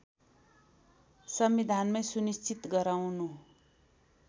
संविधानमै सुनिश्चित गराउनु